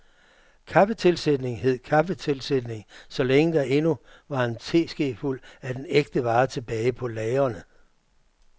Kaffetilsætning hed kaffetilsætning, sålænge der endnu var en teskefuld af den ægte vare tilbage på lagrene.